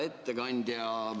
Hea ettekandja!